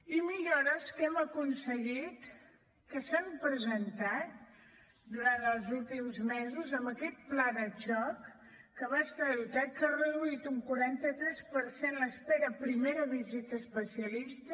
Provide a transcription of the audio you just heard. i millores que hem aconseguit que s’han presentat durant els últims mesos amb aquest pla de xoc que va estar dotat que ha reduït un quaranta tres per cent l’espera a primera visita a especialista